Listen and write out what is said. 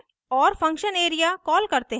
और function area call करते हैं